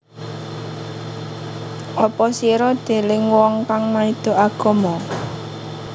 Apa sira deleng wong kang maido agama